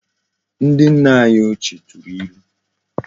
Ndi nna anyi ochie turu ilu